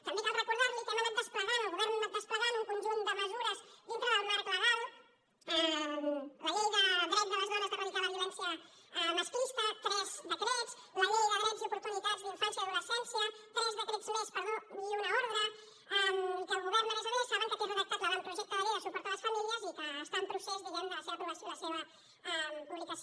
també cal recordar li que hem anat desplegant el govern ha anat desplegant un conjunt de mesures dintre del marc legal la llei del dret de les dones a eradicar la violència masclista tres decrets la llei de drets i oportunitats de la infància i l’adolescència tres decrets més perdó i una ordre i que el govern a més a més saben que té redactat l’avantprojecte de llei de suport a les famílies i que està en procés diguem ne de la seva aprovació i la seva publicació